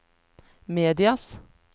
medias